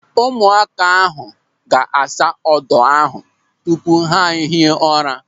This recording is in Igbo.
Ụmụaka ahụ ga-asa odo ahụ tupu ha ehie ụra.